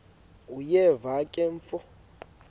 uyeva ke mfo